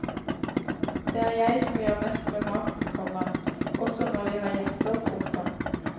Det er jeg som gjør mest med maten, komma også når vi har gjester. punktum